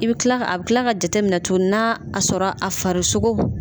I bi kila a bi kila ka jateminɛ tuguni n'a sɔrɔ a farisogo.